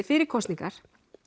fyrir kosningar